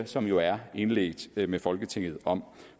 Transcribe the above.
som jo er indledt med folketinget om